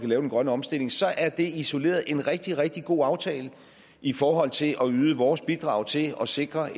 lave den grønne omstilling så er det isoleret set en rigtig rigtig god aftale i forhold til at yde vores bidrag til at sikre